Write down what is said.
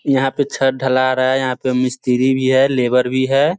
यहाँ पे छत ढला रहा है। यहाँ पे मिस्त्री भी हैं लेबर भी है।